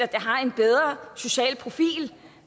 det har en bedre social profil